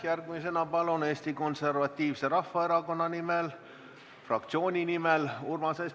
Järgmisena Eesti Konservatiivse Rahvaerakonna fraktsiooni nimel Urmas Espenberg.